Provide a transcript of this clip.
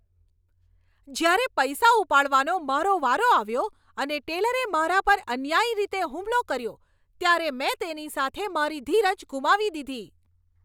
જ્યારે પૈસા ઉપાડવાનો મારો વારો આવ્યો અને ટેલરે મારા પર અન્યાયી રીતે હુમલો કર્યો, ત્યારે મેં તેની સાથે મારી ધીરજ ગુમાવી દીધી.